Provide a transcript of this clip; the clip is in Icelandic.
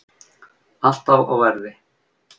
Alltaf á verði.